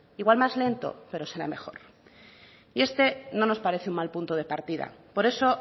igual más lento pero será mejor y este no nos parece un mal punto de partida por eso